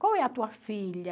Qual é a tua filha?